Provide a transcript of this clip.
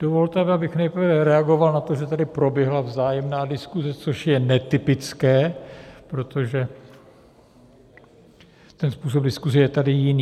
Dovolte mi, abych nejprve reagoval na to, že tady proběhla vzájemná diskuse, což je netypické, protože ten způsob diskuse je tady jiný.